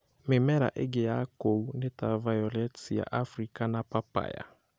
Mĩmera ĩngĩ ya kũu nĩ ta violets cia Afrika na papaya.